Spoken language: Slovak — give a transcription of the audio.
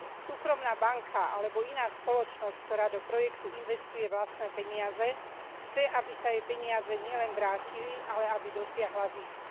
Súkromná banka alebo iná spoločnosť, ktorá do projektu investuje vlastné peniaze, chce, aby sa jej peniaze nielen vrátili, ale aby dosiahla zisk.